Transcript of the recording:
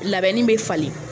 Labɛnni bɛ falen.